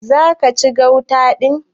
Zaki ci gauta din?